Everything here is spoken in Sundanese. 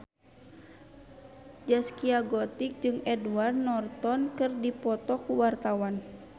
Zaskia Gotik jeung Edward Norton keur dipoto ku wartawan